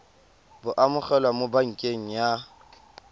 bo amogelwa mo pakeng ya